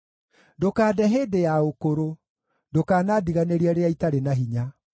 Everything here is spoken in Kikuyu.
Ndũkande hĩndĩ ya ũkũrũ; ndũkanandiganĩrie rĩrĩa itarĩ na hinya.